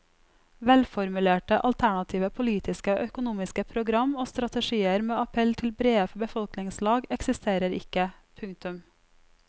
Velformulerte alternative politiske og økonomiske program og strategier med appell til brede befolkningslag eksisterer ikke. punktum